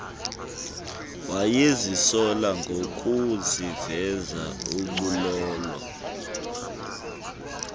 wayezisola ngokuziveza ubulolo